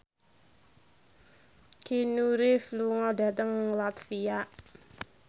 Keanu Reeves lunga dhateng latvia